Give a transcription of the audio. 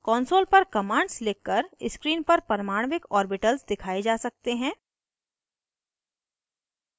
console पर commands लिख कर screen पर परमाण्विक ऑर्बिटल्स दिखाए जा सकते हैं